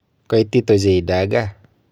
Koitit ochei dagaa.